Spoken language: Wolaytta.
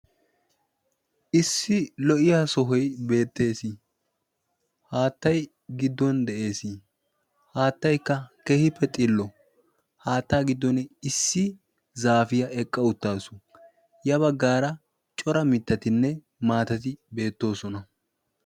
Issi lo"iya sohoy beettees. haattay giddon de'ees. haattaykka kehippe xillo haattaa giddon issi zaafiyaa eqqa uttaasu ya baggaara cora mittatinne maatati beettoosona.